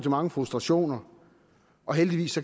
mange frustrationer heldigvis